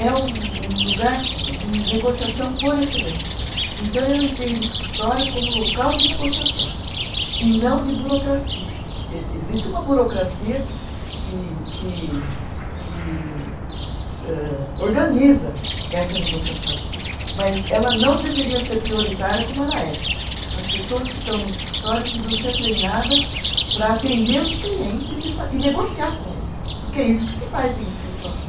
É um um lugar de de negociação por excelência então eu entendo o escritório como local de negociação e não de burocracia, ê existe uma burocracia que que que que se âh, organiza essa negociação mas ela não deveria ser prioritária como ela é, as pessoas que estão nos escritórios deviam ser treinadas para atender os clientes e fa e negociar com eles, porque é isso que se faz em escritório